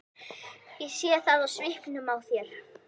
Ég sé það á svipnum á þér.